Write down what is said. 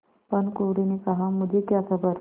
भानुकुँवरि ने कहामुझे क्या खबर